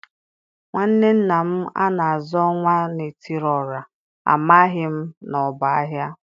nwanne nna m a na-aza Onwa na etiri ora, ,amaghị m na ọ bụ aha.